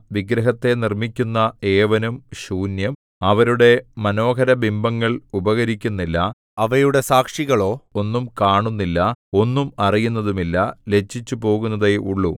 വിഗ്രഹത്തെ നിർമ്മിക്കുന്ന ഏവനും ശൂന്യം അവരുടെ മനോഹരബിംബങ്ങൾ ഉപകരിക്കുന്നില്ല അവയുടെ സാക്ഷികളോ ഒന്നും കാണുന്നില്ല ഒന്നും അറിയുന്നതുമില്ല ലജ്ജിച്ചുപോകുന്നതേയുള്ള